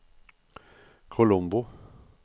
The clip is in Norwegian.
Colombo